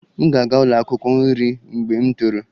M ga-aga ụlọ akwụkwọ nri mgbe m toro